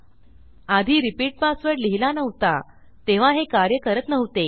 आधी repeat password लिहिला नव्हता तेव्हा हे कार्य करत नव्हते